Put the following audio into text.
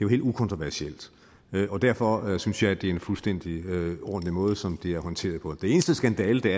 helt ukontroversielt og derfor synes jeg det er en fuldstændig ordentlig måde som det er håndteret på den eneste skandale der